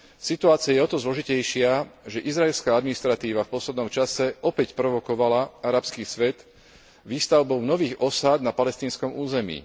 Situácia je o to zložitejšia, že izraelská administratíva v poslednom čase opäť provokovala arabský svet výstavbou nových osád na palestínskom území.